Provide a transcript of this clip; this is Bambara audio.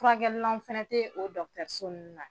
Furakɛlilan fɛnɛ tɛ o dɔgɔtɔrɔso ninnnu na